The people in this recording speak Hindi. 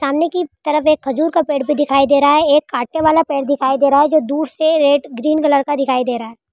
सामने की तरफ एक खजूर का पेड़ भी दिख रहा है एक काटने वाला पेड़ दिखाई दे रहा है जो दूर से ग्रीन कलर का दिखाई दे रहा है।